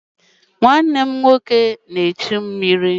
Nwanne m nwoke na-echu mmiri.